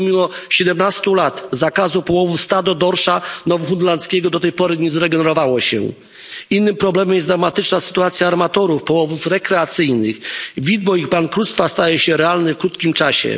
I pomimo 17 lat zakazu połowu stado dorsza nowofunlandzkiego do tej pory nie zregenerowało się. Innym problemem jest dramatyczna sytuacja armatorów połowów rekreacyjnych. Widmo ich bankructwa staje się realne w krótkim czasie.